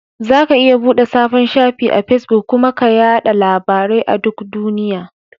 Zaka iya buɗe sabon shafi a Fesbuk kuma ka yaɗa labarai a duk duniya.